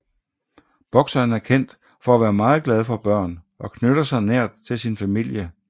Boxeren er kendt for at være meget glad for børn og knytter sig nært til sin familie